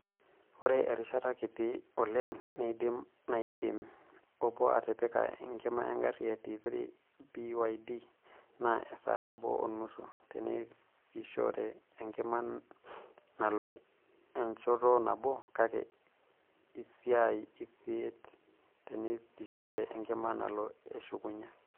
Oree erishata kitii oleng naidim naidim obo atipikia enkima egari e T3 BYD naa esaa nabo o nusu tenesishore enkima nalo enchoto nabo kake isaai isiet tenesishore enkima nalo eshukunye.